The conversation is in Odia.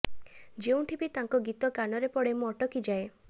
ଯେଉଁଠି ବି ତାଙ୍କ ଗୀତ କାନରେ ପଡ଼େ ମୁଁ ଅଟକିଯାଏ